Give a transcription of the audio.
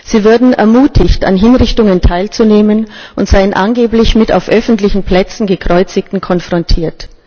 Sie würden ermutigt, an Hinrichtungen teilzunehmen, und seien angeblich mit auf öffentlichen Plätzen Gekreuzigten konfrontiert.